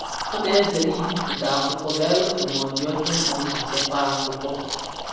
Ọ na-ezere ibipụta akwụkwọ belụsọ ma ọ dị oke mkpa iji chekwaa akwụkwọ.